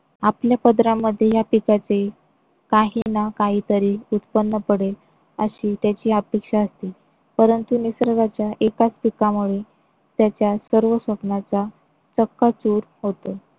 आपल्या पदरामध्ये या पिकाचे काही ना काहीतरी उत्पन्न पडेल अशी त्याची अपेक्षा असते. परंतु निसर्गाच्या एकाच पिकामुळे त्याच्या सर्व स्वप्नाचा चक्काचूर होतो